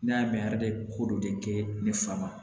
Ne y'a mɛn ara be ko dɔ de kɛ ne fa ma